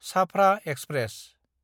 Chhafra express